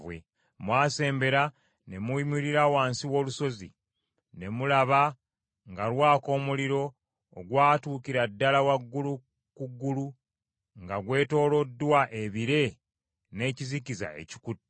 Mwasembera ne muyimirira wansi w’olusozi, ne mulaba nga lwaka omuliro ogwatuukira ddala waggulu ku ggulu, nga gwetooloddwa ebire n’ekizikiza ekikutte.’